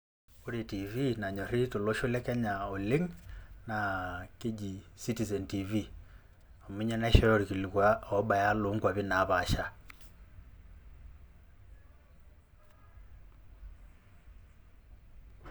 Wore tiivi nanyorri tolosho le Kenya oleng' naa keji citizen tiivi, amu ninye naishooyo irkilikua oobaya loonkuapi naapasha.